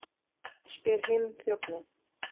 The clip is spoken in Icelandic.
spyr hinn þjónninn.